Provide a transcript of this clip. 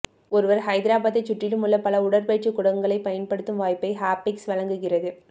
ஒருவர் ஹைதராபாத்தை சுற்றிலும் உள்ள பல உடற்பயிற்சி கூடங்களை பயன்படுத்தும் வாய்ப்பை ஹாபிக்ஸ் வழங்குகிறது